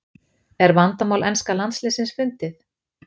Er vandamál enska landsliðsins fundið?